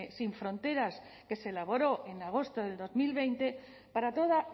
sin fronteras que se elaboró en agosto del dos mil veinte para toda